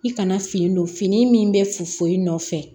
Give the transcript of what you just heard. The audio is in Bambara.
I kana fini don fini min bɛ fu i nɔfɛ